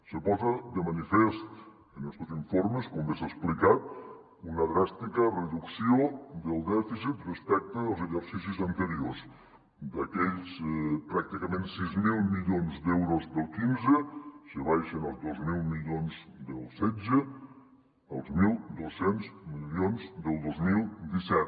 se posa de manifest en estos informes com bé s’ha explicat una dràstica reducció del dèficit respecte dels exercicis anteriors d’aquells pràcticament sis mil milions d’euros del quinze se baixa als dos mil milions del setze als mil dos cents milions del dos mil disset